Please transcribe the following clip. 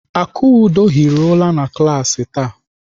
Akudo hiri ụra na klaasị taa.